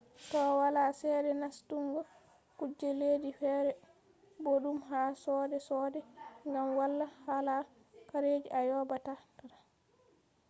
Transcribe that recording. to wala chede nastungo kuje leddi fere boddum ha soode soode gam walaa hala harajii a yoobataa